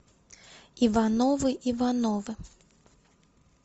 ивановы ивановы